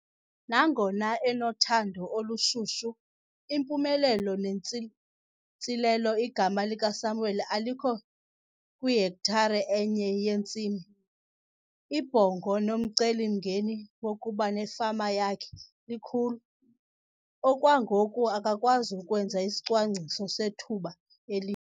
Nangona enothando olushushu, impumelelo neentsilelo igama likaSamuel alikho kwihektare enye yentsimi. Ibhongo nomcelimngeni wokuba nefama yakhe likhulu. Okwangoku akakwazi kwenza isicwangciso sethuba eli.